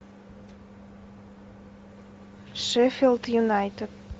шеффилд юнайтед